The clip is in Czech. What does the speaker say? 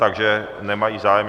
Takže nemají zájem.